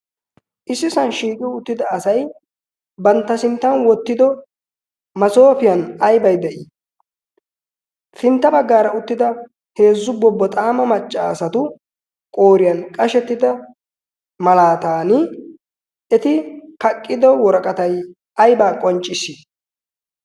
issisan shiiqi uttida asay bantta sinttan wottido masoofiyan aybay de'ii sintta baggaara uttida heezzu bobboxaama maccaasatu qooriyan qashettida malaatan eti kaqqido woraqatay aybaa qoncciss